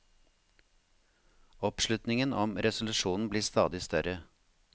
Oppslutningen om resolusjonen blir stadig større.